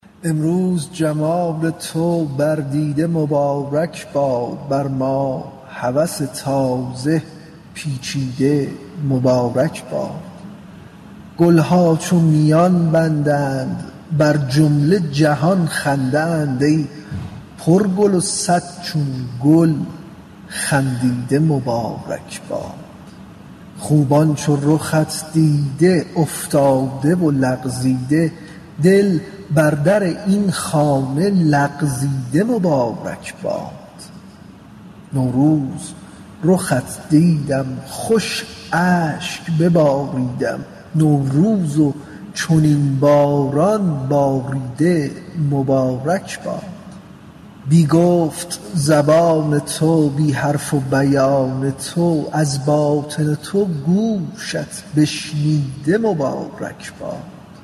امروز جمال تو بر دیده مبارک باد بر ما هوس تازه پیچیده مبارک باد گل ها چون میان بندد بر جمله جهان خندد ای پرگل و صد چون گل خندیده مبارک باد خوبان چو رخت دیده افتاده و لغزیده دل بر در این خانه لغزیده مبارک باد نوروز رخت دیدم خوش اشک بباریدم نوروز و چنین باران باریده مبارک باد بی گفت زبان تو بی حرف و بیان تو از باطن تو گوشت بشنیده مبارک باد